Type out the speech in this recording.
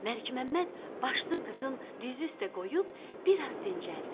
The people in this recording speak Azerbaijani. Məlikməmməd başını qızın dizi üstə qoyub bir az dincəldi.